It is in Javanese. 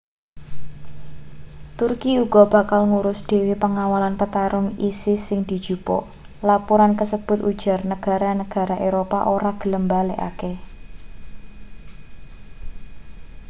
turki uga bakal ngurus dhewe pangawalan petarung isis sing dijupuk lapuran kasebut ujar negara-negara eropa ora gelem mbalekake